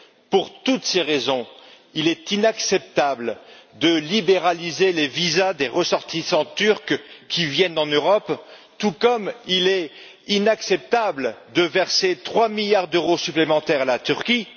pour toutes ces raisons, il est inacceptable de libéraliser les visas des ressortissants turcs qui viennent en Europe, tout comme il est inacceptable de verser trois milliards d'euros supplémentaires à la Turquie.